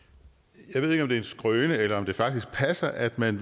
jeg ved ikke om det er en skrøne eller om det faktisk passer at man